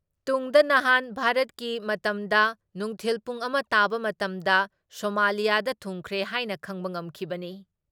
ꯇꯨꯡꯗ ꯅꯍꯥꯟ ꯚꯥꯔꯠꯀꯤ ꯃꯇꯝꯗ ꯅꯨꯡꯊꯤꯜ ꯄꯨꯡ ꯑꯃ ꯇꯥꯕ ꯃꯇꯝꯗ ꯁꯣꯃꯥꯂꯤꯌꯥꯗ ꯊꯨꯡꯈ꯭ꯔꯦ ꯍꯥꯏꯅ ꯈꯪꯕ ꯉꯝꯈꯤꯕꯅꯤ ꯫